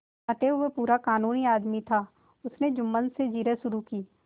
अतएव वह पूरा कानूनी आदमी था उसने जुम्मन से जिरह शुरू की